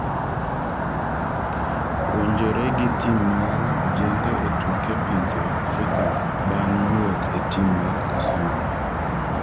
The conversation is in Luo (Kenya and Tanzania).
puonjore gi tim mar ojende e tuke pinje Afrika bang' wuok e tim mar Arsenal